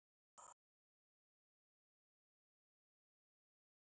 Ljóðið var sjö erindi en hér birtast tvö þeirra: